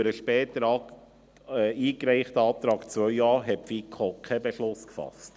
Über den später eingereichten Antrag 2.a hat die FiKo keinen Beschluss gefasst.